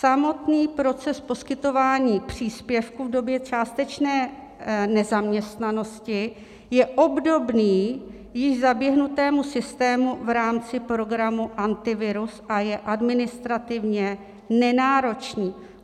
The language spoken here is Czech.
Samotný proces poskytování příspěvku v době částečné nezaměstnanosti je obdobný již zaběhnutému systému v rámci programu Antivirus a je administrativně nenáročný.